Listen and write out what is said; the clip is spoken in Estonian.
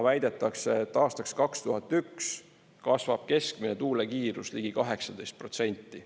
Väidetakse, et aastaks 2001 kasvab keskmine tuule kiirus ligi 18%.